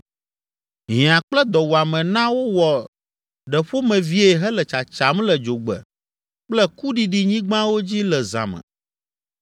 Hiã kple dɔwuame na wowɔ ɖeƒomevie hele tsatsam le dzogbe kple kuɖiɖinyigbawo dzi le zã me.